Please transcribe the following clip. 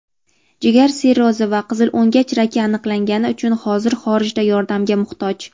jigar sirrozi va qizilo‘ngach raki aniqlangani uchun hozir xorijda yordamga muhtoj.